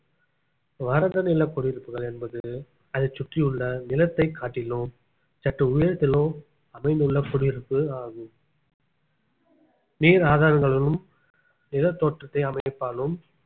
வறண்ட நில குடியிருப்புகள் என்பது அதைச் சுற்றியுள்ள நிலத்தைக் காட்டிலும் சற்று உயரத்திலோ அமைந்துள்ள குடியிருப்பு ஆகும் நீர் ஆதாரங்களுடனும் நிலத்தோற்றத்தை அமைப்பாலும்